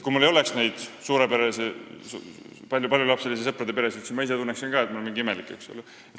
Kui mul ei oleks neid paljulapselisi sõprade peresid ümber, siis ma ise tunneksin ka ennast mingi imelikuna.